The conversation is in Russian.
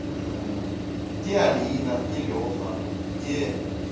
где алина где леха где